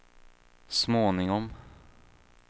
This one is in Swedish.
småningom